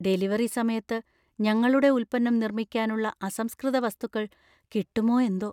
Delivery സമയത്ത് ഞങ്ങളുടെ ഉൽപ്പന്നം നിർമ്മിക്കാനുള്ള അസംസ്കൃത വസ്തുക്കൾ കിട്ടുമോ എന്തോ?